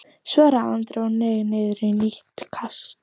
svaraði Andri og hneig niður í nýtt kast.